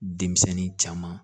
Denmisɛnnin caman